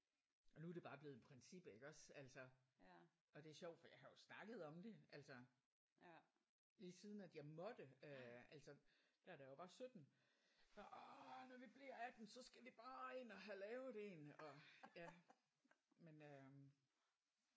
Og nu er det bare blevet en princip iggås? Altså og det er sjovt for jeg har jo snakket om det altså lige siden at jeg måtte øh altså der da jeg var 17 åh der når vi bliver 18 så skal vi bare ind og have lavet en og ja men øh